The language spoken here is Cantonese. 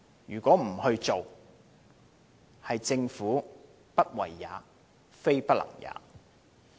如果政府不做，政府是不為也，非不能也。